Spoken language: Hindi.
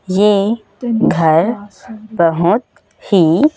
ये घर बहोत ही--